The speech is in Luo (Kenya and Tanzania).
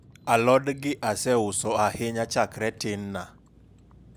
alod gi aseuso ahinya chakre tinna